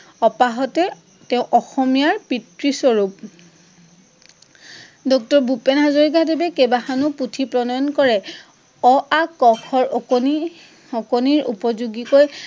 অপাহতে তেঁও অসমীয়াৰ পিতৃ স্বৰূপ। ডক্টৰ ভূপেন হাজৰিকাদেৱে কেইবাখনো পুথি প্ৰনয়ণ কৰে। অ, আ, ক, খ, অকনি! অকনিৰ উপযোগীকৈ